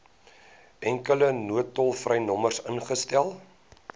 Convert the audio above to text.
enkele noodtolvrynommer ingestel